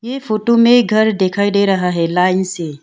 ये फोटो में घर दिखाई दे रहा है लाइन से।